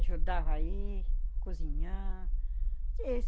Ajudava a ir, cozinhar.